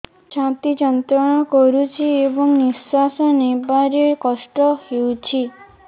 ଛାତି ଯନ୍ତ୍ରଣା କରୁଛି ଏବଂ ନିଶ୍ୱାସ ନେବାରେ କଷ୍ଟ ହେଉଛି